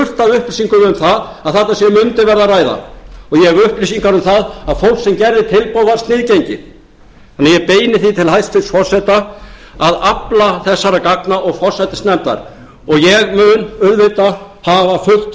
upplýsingum um það að þarna sé verið að ræða og ég hef upplýsingar um það að fólk sem gerði tilboð var sniðgengið þannig að ég beini því til hæstvirts forseta og forsætisnefndar að afla þessara gagna og ég mun auðvitað hafa fullt